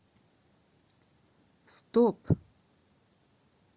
стоп